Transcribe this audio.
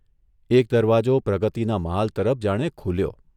એક દરવાજો પ્રગતિના મહાલ તરફ જાણે ખૂલ્યો.